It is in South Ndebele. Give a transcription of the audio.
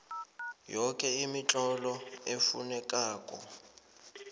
yoke imitlolo efunekako